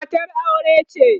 matar aure ce?